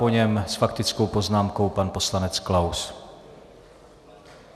Po něm s faktickou poznámkou pan poslanec Klaus.